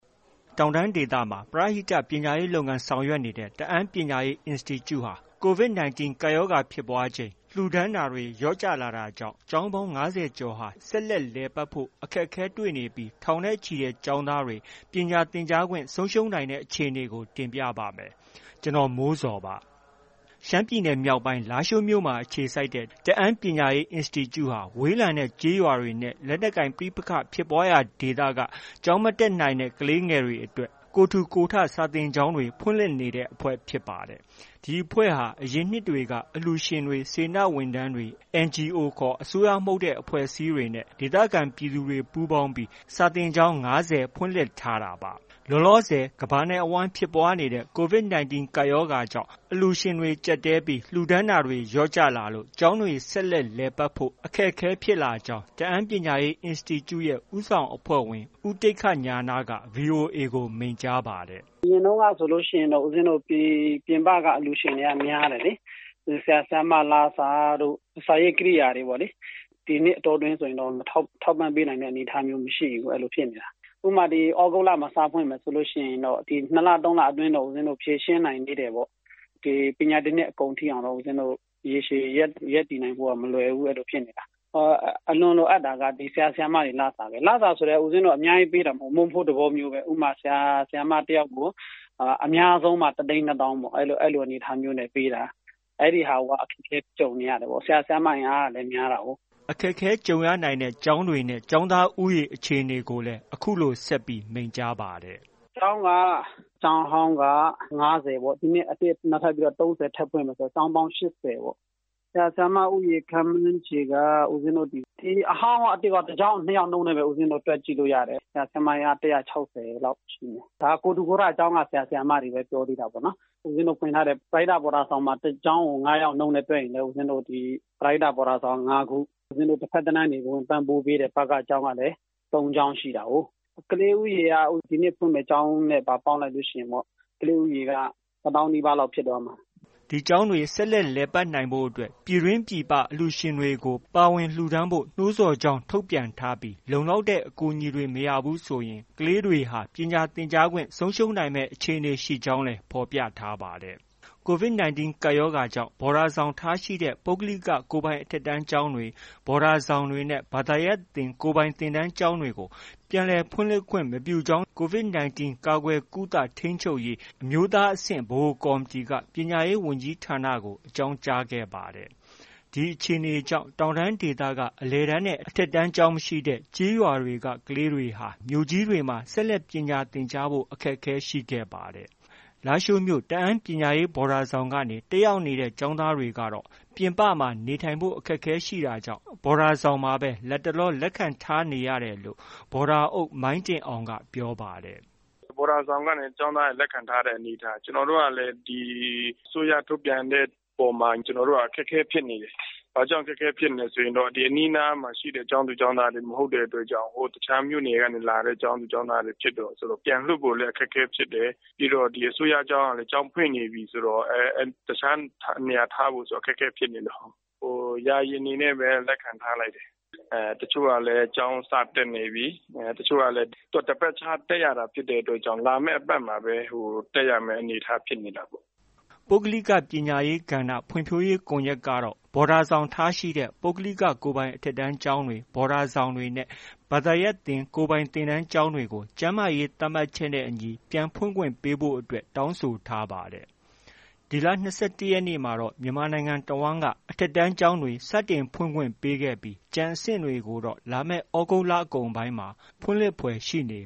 တောင်တန်းဒေသမှာ ပရဟိတ ပညာရေးလုပ်ငန်း ဆောင်ရွက်နေတဲ့ တအာင်းပညာရေးအင်စတီကျူ့ဟာ COVID-19 ကပ်ရောဂါဖြစ်ပွားချိန် လှူဒါန်းတာတွေ လျော့ကျလာတာကြောင့် ကျောင်းပေါင်း ၅၀ကျော်ဟာ ဆက်လက် လည်ပတ်ဖို့ အခက်အခဲတွေနေပြီး ထောင်နဲ့ချီတဲ့ ကျောင်းသားတွေ ပညာသင်ကြားခွင့် ဆုံးရှုံးနိုင်တဲ့အခြေအနေကို ကိုမိုးဇော် တင်ပြပါမယ်။ ရှမ်းပြည်နယ်မြောက်ပိုင်း လားရှိုးမြို့မှာ အခြေစိုက်ထားတဲ့ တအာင်းပညာရေးအင်စတီကျူ့ ဟာ ဝေးလံတဲ့ကျေးရွာတွေနဲ့ လက်နက်ကိုင်ပဋိပက္ခဖြစ်ပွားရာဒေသတွေက ကျောင်းမတက်နိုင်တဲ့ ကလေးငယ်တွေအတွက် ကိုယ်ထူကိုယ်ထ စာသင်ကျောင်းတွေ ဖွင့်လှစ်နေတဲ့ အဖွဲ့ ဖြစ်ပါတယ်။ ဒီအဖွဲ့ဟာ အရင်နှစ်တွေက အလှူရှင်တွေ၊ စေတနာဝန်ထမ်းတွေ၊ NGO ခေါ် အစိုးရမဟုတ်တဲ့ အဖွဲ့အစည်းတွေနဲ့ ဒေသခံပြည်သူတွေ ပူးပေါင်းပြီး စာသင်ကျောင်း ၅၀ ဖွင့်လှစ်ထားတာပါ။ လောလောဆည် ကမ္ဘာနဲ့ အဝှမ်းဖြစ်ပွားနေတဲ့ COVID-19 ကပ်ရောဂါကြောင့် အလှူရှင်တွေ ကျပ်တည်းလာတာကြောင့် ကျောင်းတွေ ဆက်လက် လည်ပတ်ဖို့ အခက်အခဲဖြစ်လာကြောင်း တအာင်းပညာရေး အင်စတီကျူ့ ရဲ့ ဦးဆောင် အဖွဲ့ဝင် ဦးတိက္ခဉာဏက VOA ကို မိန့်ကြားပါတယ်။ “ အရင်တုန်းကဆိုရင်တော့ဦးပဉ္ဖင်းတို့ ပြင်ပက အလှူရှင်တွေက များတယ်လေ။ ဒီ ဆရာ၊ ဆရာမ လစာတို့ ၊ စာရေးကရိယာတွေပေါ့လေ။ ဒီနှစ်အတောအတွင်းဆိုရင်တော့ ထောက်ပံ့ပေးနိုင်တဲ့အနေအထားမျိုးမရှိဘူးလေ။ အဲလိုဖြစ်နေတာ။ ဥပမာ- သြဂုတ်လမှာ စဖွင့်မယ် ဆိုရင်တော့ ဒီ ၂လ၊ ၃လအတွင်းတော့ ဖြေရှင်းနိုင်သေးတယ်။ ပညာသင်နှစ်အကုန်ထိ ရေရှည်ရပ်တည်နိုင်ဖို့က မလွယ်ဘူး အဲလိုဖြစ်နေတာ။ အလွန်လိုအပ်တာက ဆရာ၊ ဆရာမတွေ လစာပဲ။ လစာဆိုလည်း ဦးပဉ္ဖင်းတို့ အများကြီးပေးတာမဟုတ်ဘူး။ မုန့်ဖိုးသဘောမျိုးပဲ ဥပမာ- ဆရာ၊ ဆရာမ တစ်ယောက်ကို အများဆုံးမှ တစ်သိန်း နှစ်သောင်း အဲလိုအနေအထားမျိုးနဲ့ ပေးတာ။ အဲဒီဟာကို အခက်အခဲကြုံနေရတယ်ပေါ့။ ဆရာ၊ ဆရာမ အင်အားကလည်း များတာကိုး။” အခက်အခဲကြုံရနိုင်တဲ့ ကျောင်းတွေနဲ့ ကျောင်းသား ဦးရေ အခြေအနေကိုလည်း အခုလို ဆက်ပြီး မိန့်ကြားပါတယ်။ “ ကျောင်းက ကျောင်းဟောင်းက ၅၀ပေါ့။ ဒီနှစ် အသစ်နောက်ထပ် ၃၀ထပ်ဖွင့်မယ် ဆိုတော့ ကျောင်းက ၈၀။ ဆရာ၊ ဆရာမ ဦးရေ ခန့်မှန်းခြေက အဟောင်းရော အသစ်ရော တစ်ကျောင်းကို နှစ်ယောက်နှုန်းနဲ့ပဲ တွက် ကြည့်လို့ ရတယ်။ ဆရာ၊ ဆရာမ အင်အား ၁၆၀လောက်ရှိမယ်။ ဒါကိုယ်ထူကိုယ်ထ ကျောင်းက ဆရာ၊ ဆရာမတွေပဲ ပြောသေးတာပေါ့။ ဦးပဉ္ဖင်းတို့ ဖွင့်ထားတဲ့ ပရဟိတ ဘော်ဒါဆောင်က တစ်ကျောင်းကို ၅ယောက်နှုန်းနဲ့ တွက်ရင်ပဲ ပရဟိတဘော်ဒါဆောင်က ၅ခု။ ဦးပဉ္ဖင်းတို့ တစ်ဘက်တလမ်းကနေ ပံ့ပိုးပေးတဲ့ ဘက ကျောင်းကလည်း ၃ခုရှိတာကိုး။ ကလေးဦးရေက ဒီနှစ်ဖွင့်မယ့် ကျောင်းနဲ့ပါ ပေါင်းလိုက်လို့ရှိရင် ကလေးဦးရေက တစ်သောင်းနီးပါးလောက် ဖြစ်သွားမှာ။” ဒီကျောင်းတွေ ဆက်လက် လည်ပတ်နိုင်ဖို့အတွက် ပြည်တွင်း၊ ပြည်ပ အလှူရှင်တွေကို ပါဝင် လှူဒါန်းဖို့ နှိုးဆော်ပြန်ကြားကြောင်း ထုတ်ပြန်ထားပြီး လုံလောက်တဲ့ အကူအညီတွေ မရဘူးဆိုရင် ကလေးတွေဟာ ပညာသင်ကြားခွင့် ဆုံးရှုံးမယ်အခြေအနေရှိကြောင်းလည်း ဖော်ပြထားပါတယ်။ COVID-19 ကပ်ရောဂါကြောင့် ဘော်ဒါဆောင်ထားရှိတဲ့ ပုဂ္ဂလိက ကိုယ်ပိုင်အထက်တန်းကျောင်းတွေ၊ ဘော်ဒါဆောင်တွေနဲ့ ဘာသာရပ်သင်ကိုယ်ပိုင်သင်တန်းကျောင်းတွေကို ပြန်လည်ဖွင့်လှစ်ခွင့် မပြုကြောင်း COVID-19 ကာကွယ်၊ ကုသ၊ ထိန်းချုပ်ရေး အမျိုးသားအဆင့်ဗဟိုကော်မတီက ပညာရေးဝန်ကြီးဌာနကို အကြောင်းကြားခဲ့ပါတယ်။ ဒီအခြေအနေကြောင့် တောင်တန်းဒေသက အလယ်တန်းနဲ့ အထက်တန်းကျောင်းမရှိတဲ့ ကျေးရွာတွေက ကလေးတွေဟာ မြို့ကြီးတွေမှာ ဆက်လက်ပညာသင်ကြားဖို့ အခက်အခဲရှိခဲ့ပါတယ်။ လားရှိုးမြို့ တအန်းပညာရေးဘော်ဒါဆောင်ကနေ တက်ရောက်နေတဲ့ ကျောင်းသားတွေကတော့ ပြင်ပမှာ နေထိုင်ဖို့ အခက်အခဲရှိနေတာကြောင့် ဘော်ဒါဆောင်မှာပဲ လတ်တလော လက်ခံထားနေရတယ်လို့ ဘော်ဒါအုပ် မိုင်းတင်အောင်က ပြောပါတယ်။ “ ဘော်ဒါဆောင်ကနေ ကျောင်းသားတွေ လက်ခံထားတဲ့အနေအထား။ ကျနော်တို့ကလည်း ဒီ အစိုးရထုတ်ပြန်တဲ့အပေါ်မှာ အခက်အခဲဖြစ်နေတယ်။ ဘာကြောင်လဲဆိုရင်တော့ ဒီအနီးအနားမှာရှိတဲ့ ကျောင်းသူ၊ ကျောင်းသားတွေ မဟုတ်တဲ့အတွက်ကြောင့်၊ တခြားမြို့နယ်က လာတဲ့ ကျောင်းသူကျောင်းသားတွေ ဖြစ်တယ်ဆိုတော့ ပြန်လွှတ်ဖို့လည်း အခက်အခဲဖြစ်တယ်။ ပြီးတော့ ဒီ အစိုးရကျောင်းကလည်း ကျောင်းဖွင့်နေပြီဆိုတော့ တခြားနေရာထားဖို့ဆိုတာ အခက်အခဲဖြစ်နေလို့၊ ယာယီအနေနဲ့ပဲ လက်ခံထားလိုက်တယ်။ တချို့ကလည်း ကျောင်းစတက်နေပြီ။ တချို့ကလည်း သူက တစ်ပတ်ခြားတက်ရတာ ဖြစ်တဲ့အတွက်ကြောင့် နောက် တစ်ပတ်မှပဲ တက်ရတဲ့အနေအထားဖြစ်နေတာပေါ့။” ပုဂ္ဂလိက ပညာရေး ကဏ္ဍဖွံ့ဖြိုးရေးကွန်ရက်ကတော့ ဘော်ဒါဆောင်ထားရှိတဲ့ ပုဂ္ဂလိက ကိုယ်ပိုင် အထက်တန်းကျောင်းတွေ၊ ဘော်ဒါဆောင်တွေနဲ့ ဘာသာရပ်သင်ကိုယ်ပိုင်သင်တန်းကျောင်းတွေကို ကျန်းမာရေးသတ်မှတ်ချက်နဲ့အညီ ပြန်ဖွင့်ခွင့်ပေးဖို့ အတွက် တောင်းဆိုထားပါတယ်။ ဒီလ ၂၁ရက်နေ့မှာတော့ မြန်မာနိုင်ငံတဝှမ်းက အထက်တန်းကျောင်းတွေ စတင်ဖွင့်ခွင့်ပေးခဲ့ပြီး ကျန်အဆင့်တွေကိုတော့ လာမယ် သြဂုတ်လ အကုန်ပိုင်းလောက်မှ ဖွင့်လှစ်ဖွယ် ရှိနေ